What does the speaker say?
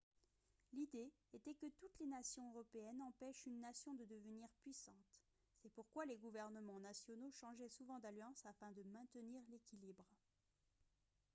l'idée était que toutes les nations européennes empêchent une nation de devenir puissante c'est pourquoi les gouvernements nationaux changeaient souvent d'alliances afin de maintenir l'équilibre